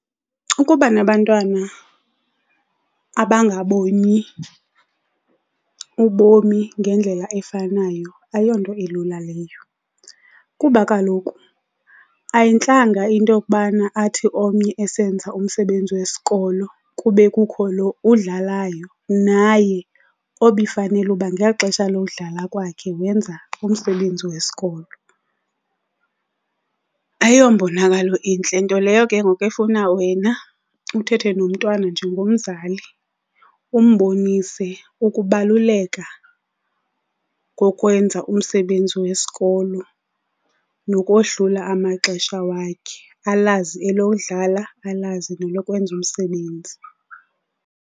Ukuba nabantwana abangaboni ubomi ngendlela efanayo ayonto ilula leyo. Kuba kaloku ayintlanga into yokubana athi omnye esenza umsebenzi wesikolo kube kukho lo udlalayo naye obefanele uba ngexesha lokudlala kwakhe wenza umsebenzi wesikolo. Ayombonakalo intle, nto leyo ke ngoku efuna wena uthethe nomntwana njengomzali umbonise ukubaluleka kokwenza umsebenzi wesikolo nokohlula amaxesha wakhe, alazi elodlala alazi nelokwenza umsebenzi.